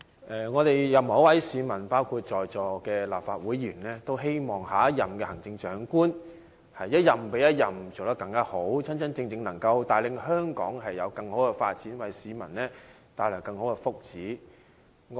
任何一位市民，包括在座的立法會議員，均希望行政長官能一任比一任做得好，真正帶領香港作更好的發展，為市民謀求更大福祉。